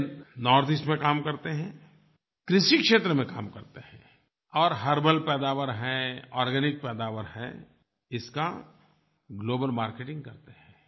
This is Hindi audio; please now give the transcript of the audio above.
वे नॉर्थईस्ट में काम करते हैं कृषि क्षेत्र में काम करते हैं और हर्बल पैदावार हैं आर्गेनिक पैदावार हैं इसका ग्लोबल मार्केटिंग करते हैं